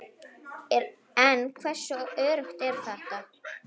En hversu öruggt er þetta?